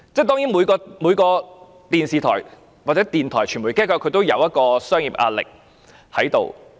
當然，每間電視台、電台或傳媒機構也要面對商業壓力。